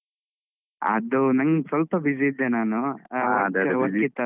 ಅದು ನಂಗ್ ಸ್ವಲ್ಪ busy ಇದ್ದೆ ನಾನು ಆ ಅದೇ ಅದೇ ಅದು